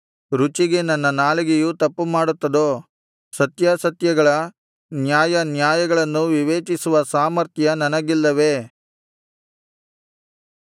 ರುಚಿಗೆ ನನ್ನ ನಾಲಿಗೆಯು ತಪ್ಪುಮಾಡುತ್ತದೋ ಸತ್ಯಾಸತ್ಯಗಳ ನ್ಯಾಯಾನ್ಯಾಯಗಳನ್ನು ವಿವೇಚಿಸುವ ಸಾಮರ್ಥ್ಯ ನನಗಿಲ್ಲವೇ